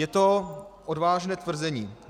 Je to odvážné tvrzení.